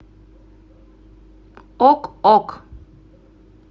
ок ок